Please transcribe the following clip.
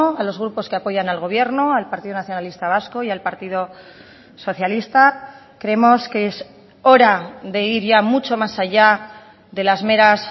a los grupos que apoyan al gobierno al partido nacionalista vasco y al partido socialista creemos que es hora de ir ya mucho más allá de las meras